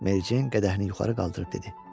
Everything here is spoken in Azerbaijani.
Mericeyn qədəhini yuxarı qaldırıb dedi.